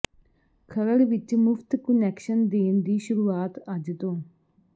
ਖਰੜ ਵਿੱਚ ਮੁਫਤ ਕੁਨੈਕਸ਼ਨ ਦੇਣ ਦੀ ਸ਼ੁਰੂਆਤ ਅੱਜ ਤੋਂ